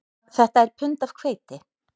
Þetta er pund af hveiti